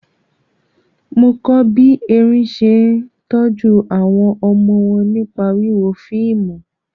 Mo kọ́ bí erin ṣe ń tọ́jú àwọn ọmọ wọn nípa wíwo fíìmù.